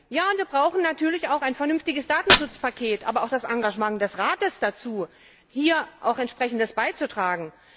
Ja, wir brauchen natürlich auch ein vernünftiges Datenschutzpaket, aber auch das Engagement des Rates dazu, hier auch Entsprechendes beizutragen.